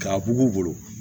K'a bugubugu